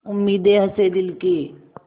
उम्मीदें हसें दिल की